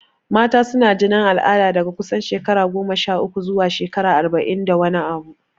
Mata suna jinin al'ada daga kusan shekara goma sha uku zuwa shekara arba'in da wani abu.